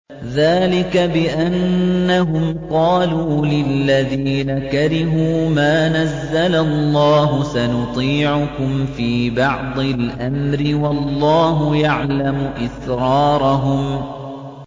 ذَٰلِكَ بِأَنَّهُمْ قَالُوا لِلَّذِينَ كَرِهُوا مَا نَزَّلَ اللَّهُ سَنُطِيعُكُمْ فِي بَعْضِ الْأَمْرِ ۖ وَاللَّهُ يَعْلَمُ إِسْرَارَهُمْ